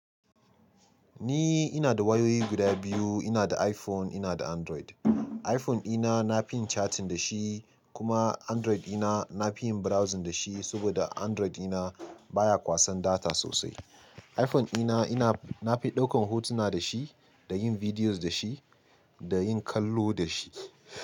Ni ina da wayoyi guda biyu. Ina da iPhone, ina da Android. iPhone dina na fin chatting da shi kuma Android dina na fi yin browsing da shi saboda Android dina baya kwasan data sosai. iPhone dina ina, na fi ɗaukan hotuna da shi, da yin videos da shi, da yin kallo da shi.